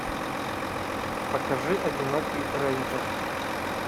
покажи одинокий рейнджер